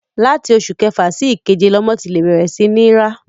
Láti oṣù kẹfà sí ìkeje lọmọ ti lè bẹ̀rẹ̀ sí ní ń rá.